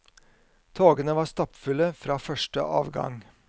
Togene var stappfulle fra første avgang.